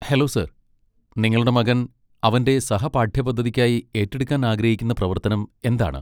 Hello, sir, നിങ്ങളുടെ മകൻ അവന്റെ സഹപാഠ്യപദ്ധതിക്കായി ഏറ്റെടുക്കാൻ ആഗ്രഹിക്കുന്ന പ്രവർത്തനം എന്താണ്?